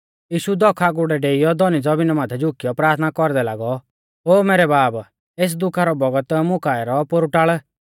यीशु दौख आगुड़ै डेईयौ धौनी ज़मीना माथै झुकियौ प्राथना कौरदै लागौ कि कौरी बौल़ा ई ता एस दुखा रौ बौगत मुं काऐ रौ पोरु टाल़